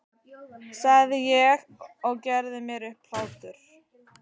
sagði ég og gerði mér upp hlátur.